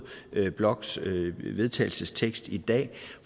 bloks vedtagelsestekst i dag